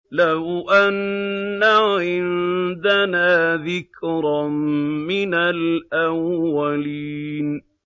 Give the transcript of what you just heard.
لَوْ أَنَّ عِندَنَا ذِكْرًا مِّنَ الْأَوَّلِينَ